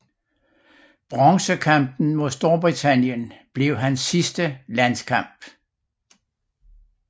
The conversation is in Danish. Bronzekampen mod Storbritannien blev hans sidste landskamp